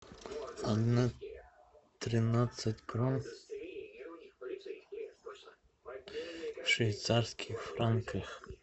одна тринадцать крон в швейцарских франках